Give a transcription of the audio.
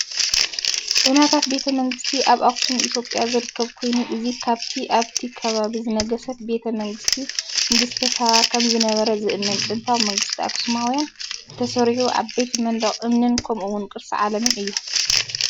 ዑናታት ቤተ መንግስቲ ፣ ኣብ ኣክሱም ኢትዮጵያ ዝርከብ ኮይኑ እዚ ካብቲ ኣብቲ ኸባቢ ዝነገሰት ቤተ መንግስቲ ንግስቲ ሳባ ኸም ዝነበረ ዚእመን ጥንታዊ መንግስቲ ኣክሱማውያን እተሰርሑ ዓበይቲ መናድቕ እምኒን ከምኡውን ቅርሲ ዓለምን እዩ።